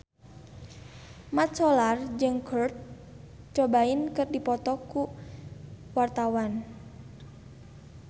Mat Solar jeung Kurt Cobain keur dipoto ku wartawan